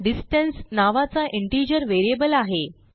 distance नावाचा integer variable आहे